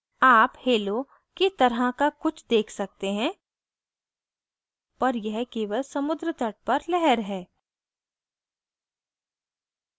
आप hallow की तरह का कुछ देख सकते हैं पर यह केवल समुद्रतट पर लहर है